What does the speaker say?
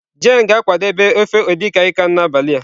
Jane ga-akwadebe ofe edikaikan n'abalị a.